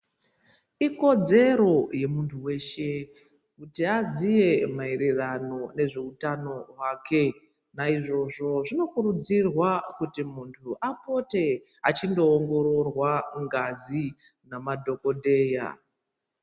Ikodzero yemuntu weshe kuti aziye maererano nezveutano hwake naizvozvo zvinokurudzirwa kuti muntu apote achindoongororwa ngazi nemadhokodheya.